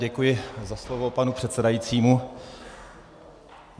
Děkuji za slovo panu předsedajícímu.